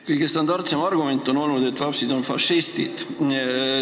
Kõige standardsem argument on olnud, et vapsid olid fašistid.